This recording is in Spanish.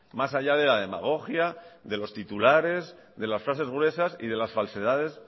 más allá de la demagogia de los titulares de las frases gruesas y de las falsedades